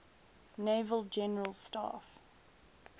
naval general staff